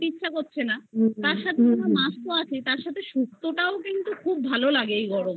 ইচ্ছা করছে না তার সাথে মাছ আছে কিন্তু সুক্ত তাও ভালো লাগে কিন্তু এই গরমে